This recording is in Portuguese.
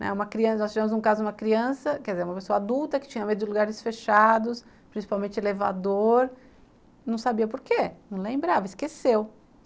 Nós tivemos um caso de uma criança, quer dizer, uma pessoa adulta que tinha medo de lugares fechados, principalmente elevador, não sabia porquê, não lembrava, esqueceu.